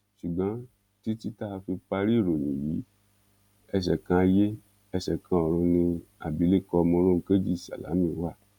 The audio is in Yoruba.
ṣùgbọn títí tá a fi parí ìròyìn yìí ẹsẹ kan ayé ẹsẹ kan ọrun ni abilékọ mòròunkejì sálámí wà